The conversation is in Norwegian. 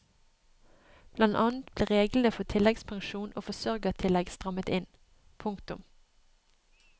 Blant annet ble reglene for tilleggspensjon og forsørgertillegg strammet inn. punktum